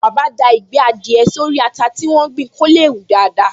Bàbá da Ìgbẹ́ adìẹ sórí ata tí wọ́n gbìn kó lè hù daádáa